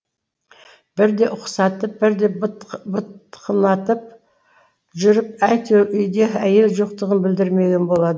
бірде ұқсатып бірде бытқынатып жүріп әйтеуір үйде әйел жоқтығын білдірмеген болады